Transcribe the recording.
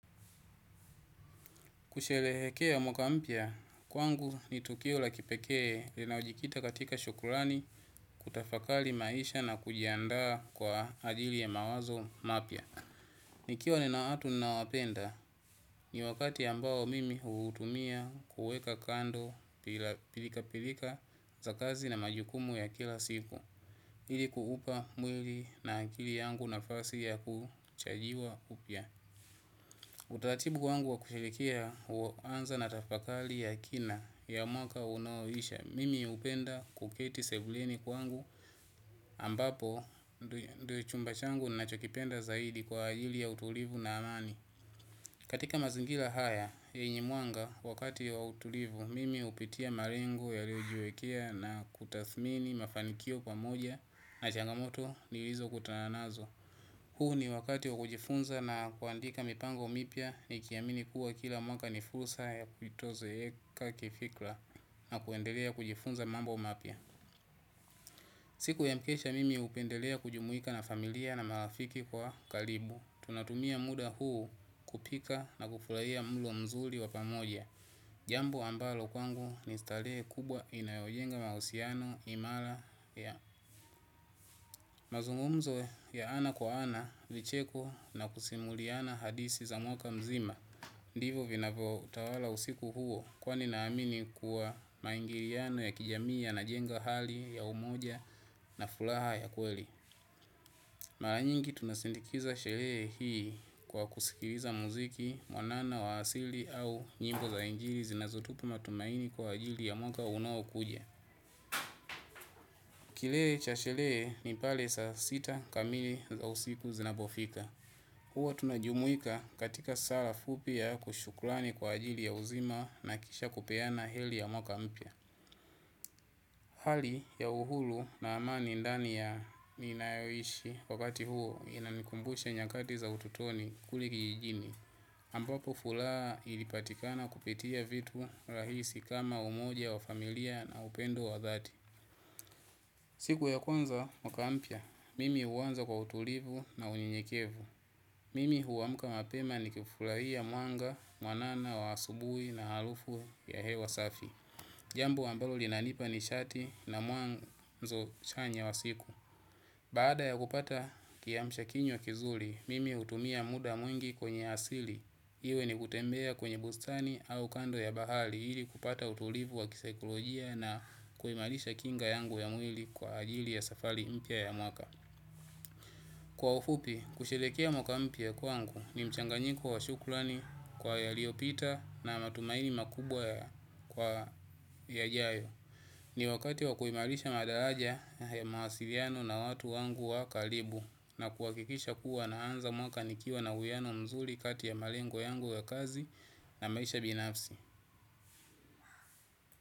Kusherehekea mwaka mpya, kwangu ni tukio la kipekee linalo jikita katika shukrani kutafakali maisha na kujiandaa kwa ajili ya mawazo mapya. Nikiwa nina watu na wapenda, ni wakati ambao mimi huutumia kuweka kando pilka pilka za kazi na majukumu ya kila siku. Hili kuupa mwili na akili yangu nafasi ya kuchargiwa upya. Utaratibu wangu wa kushirikia uanza natafakali ya kina ya mwaka unaoisha. Mimi upenda kuketi sebuleni kwangu ambapo ndio chumba changu nachokipenda zaidi kwa ajili ya utulivu na amani. Katika mazingira haya yenye mwanga wakati wa utulivu mimi hupitia mawingu yaliyojiwekea na kutathmini mafanikio pamoja na changamoto nilizokutana nazo huu ni wakati wa kujifunza na kuandika mipango mipya niki amini kuwa kila mwaka ni fursa ya kuitozeeka kifikra na kuendelea kujifunza mambo mapya siku ya mkesha mimi hupenda kujumuika na familia na marafiki kwa karibu. Tunatumia muda huu kupika na kufurahia mlo mzuri wapamoja. Jambo ambalo kwangu ni starehe kubwa inayojenga mausiano, imara, mazungumzo ya ana kwa ana vicheko na kusimuliana. Hadisi za mwaka mzima. Ndivo vinavyotawala usiku huo kwani naamini kuwa maingiliano ya kijamii yana jenga hali ya umoja na furaha ya kweli. Maranyingi tunasindikiza sherehe hii kwa kusikiliza mziki, wanana wa asili au nyimbo za injili zinazotupa matumaini kwa ajili ya mwaka unaokuja. Kilee cha sherehe ni pale sa sita kamili za usiku zinapofika. Huwa tunajumuika katika sala fupi ya shukrani kwa ajili ya uzima na kisha kupeana heli ya mwaka mpya. Hali ya uhuru na amani ndani ya minayoishi wakati huo inamikumbusha nyakati za utotoni kule kijijini. Ampapo furaha ilipatikana kupitia vitu rahisi kama umoja wa familia na upendo wa dhati. Siku ya kwanza mwaka mpya, mimi uanza kwa utulivu na unyenyekevu. Mimi huamka mapema nikifurahia mwanga mwanana wa asubuhi na harufu ya hewa safi. Jambo ambalo linanipa ni shati na mwanzo chanya wa siku. Baada ya kupata kiamsha kinywa kizuri, mimi utumia muda mwingi kwenye asili. Iwe ni kutembea kwenye bustani au kando ya bahari ili kupata utulivu wa kisakolojia na kuimarisha kinga yangu ya mwili kwa ajili ya safari mpya ya mwaka. Kwa ufupi, kusherekea mwaka mpya kwangu ni mchanganyiko wa shukrani kwa yaliyopita na matumaini makubwa kwa yajayo. Ni wakati wa kuimarisha madaraja ya mawasiliano na watu wangu wa karibu na kuwakikisha kuwa na anza mwaka nikiwa na uiano mzuri kati ya malengo yangu ya kazi na maisha binafsi.